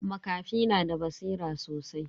Makafi na da basira sosai.